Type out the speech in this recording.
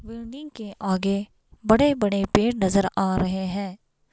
Building के आगे बड़े बड़े पेड़ नज़र आ रहे हैं।